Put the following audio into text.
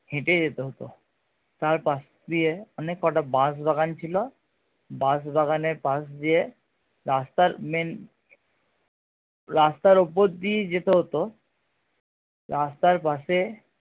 হেটে যেতে হতো তার পাশ দিয়ে অনেক কটা বাশ দোকান ছিল বাশ দোকানের পাশ দিয়ে রাস্তার main রাস্তার উপর দিয়েই যেতে হতো রাস্তার পাশে